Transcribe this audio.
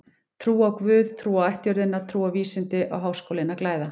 Trú á guð, trú á ættjörðina, trú á vísindin á Háskólinn að glæða.